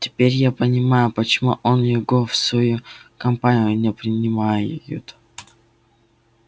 теперь я понимаю почему он его в свою компанию не принимают